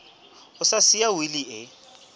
a sa siya wili e